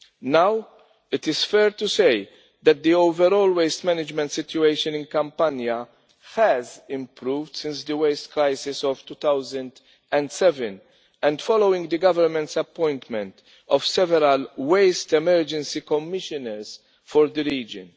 Now it is fair to say that the overall waste management situation in Campania has improved since the waste crisis of 2007 and following the government's appointment of several waste emergency commissioners for the region.